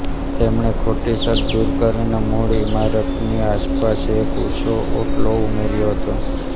તેણે ખોટી છત દૂર કરીને મૂળ ઇમારતની આસપાસ એક ઊંચો ઓટલો ઉમેર્યો હતો